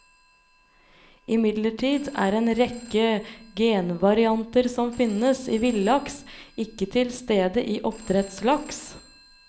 Imidlertid er en rekke genvarianter som finnes i villaks, ikke til stede i oppdrettslaks.